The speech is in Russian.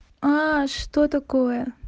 что такое